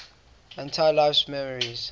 entire life's memories